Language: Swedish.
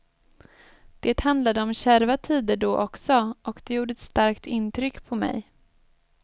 Det handlade om kärva tider då också, och det gjorde ett starkt intryck på mig.